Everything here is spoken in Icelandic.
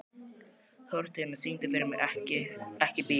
Þórsteina, syngdu fyrir mig „Ekki bíl“.